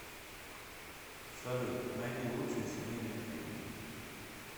салют найди лучшие семейные фильмы